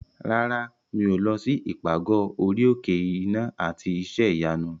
Rárá, mi ò lọ sí ìpàgọ́ orí òkè iná àti iṣẹ́ ìyanu.